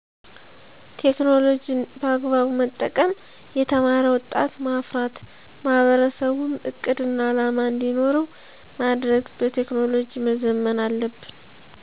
ቴክኖሎጅን በአግባቡ መጠቀም የተማረ ወጣት ማፍራት ማህበረሰቡም እቅድና አላማ እንዲኖረዉ ማድረግ በቴክኖሎጅ መዘመን አለብን